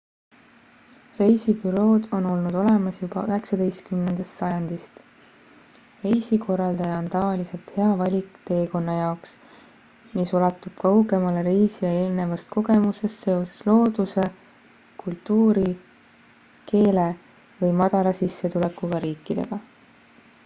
reisibürood on olnud olemas juba 19 sajandist reisikorraldaja on tavaliselt hea valik teekonna jaoks mis ulatub kaugemale reisija eelnevast kogemusest seoses looduse kultuuri keele või madala sissetulekuga riikidega